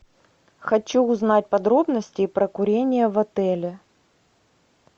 хочу узнать подробности про курение в отеле